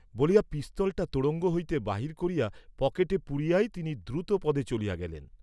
বলিয়া পিস্তলটা তোড়ঙ্গ হইতে বাহির করিয়া পকেটে পুরিয়াই তিনি দ্রুতপদে চলিয়া গেলেন।